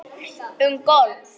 Um golf